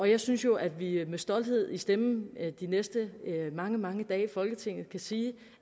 jeg synes jo at vi med stolthed i stemmen de næste mange mange dage i folketinget kan sige